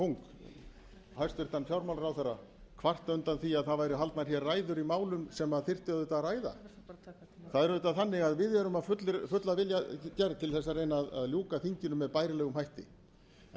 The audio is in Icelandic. ræðulengdarkóng hæstvirtur fjármálaráðherra kvarta undan því að haldnar væru ræður í málum sem þyrfti auðvitað að ræða það er auðvitað þannig að við erum full af vilja gerð til að reyna að ljúka þinginu með bærilegum hætti en